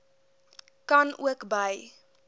kan ook by